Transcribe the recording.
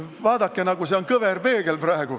Vaadake, see on nagu kõverpeegel!